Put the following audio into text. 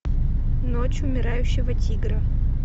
ночь умирающего тигра